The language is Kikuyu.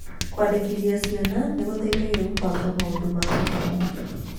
Kũandĩkithia ciana nĩ gũteithagia kũbanga maũndũ ma gĩthomo.